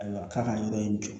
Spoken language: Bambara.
Ayiwa k'a ka yɔrɔ in jɔ